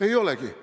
Ei olegi.